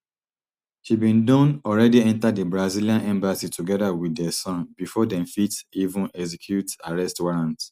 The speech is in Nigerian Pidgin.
she bin don already enta di brazillian embassy togeda wit dia son bifor dem fit even execute arrest warrant